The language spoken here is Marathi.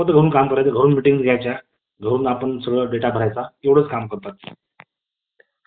त्यांनी किंवा आपल्या मित्रांचा मदतीने त्याने राजा महानंद आणि मोगलशाही यांचा नाश केला पाटणा येथे राजधानी स्थपणा केली आणि संपूर्ण भारताला आपल्या अधीन केलं.